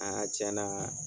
tiɲɛ na